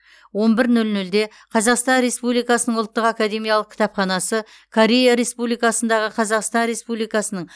он бір нөл нөлде қазақстан республикасының ұлттық академиялық кітапханасы корея республикасындағы қазақстан республикасының